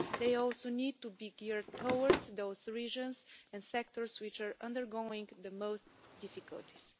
They also need to be geared towards those regions and sectors which are undergoing the most difficulties.